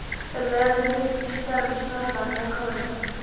Um leið og þeir birtust í salnum snarþagnaði kórinn.